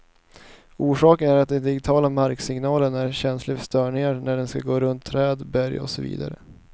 Orsaken är att den digitiala marksignalen är känslig för störningar när den skall gå runt träd, berg och så vidare.